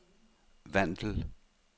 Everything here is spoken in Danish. Vandel